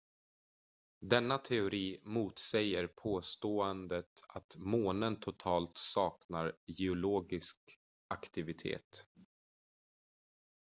denna teori motsäger påståendet att månen totalt saknar geologisk aktivitet